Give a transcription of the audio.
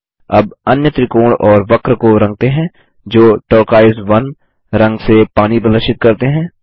अब अन्य त्रिकोण और वक्र को रंगते हैं जो टर्कोइज 1 रंग से पानी प्रदर्शित करते हैं